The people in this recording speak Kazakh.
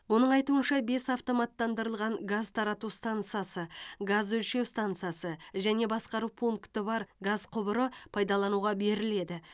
оның айтуынша бес автоматтандырылған газ тарату стансасы газ өлшеу стансасы және басқару пункті бар газ құбыры пайдалануға беріледі